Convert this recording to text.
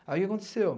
Aí o que aconteceu?